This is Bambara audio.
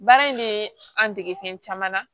Baara in bɛ an dege fɛn caman na